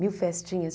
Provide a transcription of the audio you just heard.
Mil festinhas.